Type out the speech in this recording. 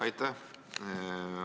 Aitäh!